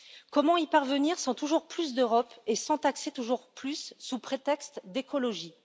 Comment y parvenir sans toujours plus d'Europe et sans taxer toujours plus, sous prétexte d'écologie?